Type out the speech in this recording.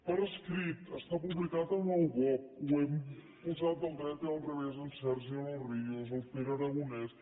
per escrit està publicat en el bopc ho hem posat del dret i del revés en sergi de los ríos el pere aragonès